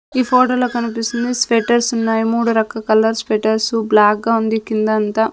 ఈ ఫొటో లో కనిపిస్తుంది స్వేటర్స్ ఉన్నాయి మూడు రక్క కలర్స్ స్వేటర్స్ బ్లాక్ గా ఉంది కింద అంతా.